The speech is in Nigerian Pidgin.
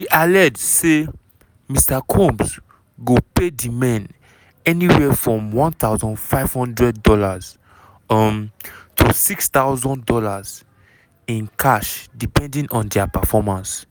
she allege say mr combs go pay di men anywhere from one thousand five hundred dollars um to $6000 in cash depending on dia performance.